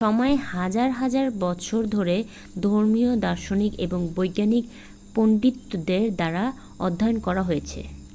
সময় হাজার হাজার বছর ধরে ধর্মীয় দার্শনিক এবং বৈজ্ঞানিক পণ্ডিতদের দ্বারা অধ্যয়ন করা হয়েছে